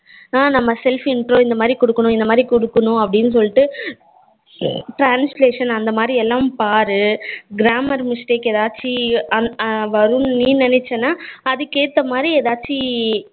ஆ நம்ம self intro இந்த மாறி குடுக்கணும் இந்த மாறி குடுக்கணும் அப்படினு சொல்லிட்டு translation அந்த மாறி எல்லாம் பாரு grammar mistake ஏதாச்சும் வரும்னு நீ நினச்சனா அதுக்கு ஏத்த மாறி ஏதாச்சும்